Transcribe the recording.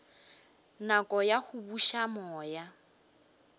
nako ya go buša moya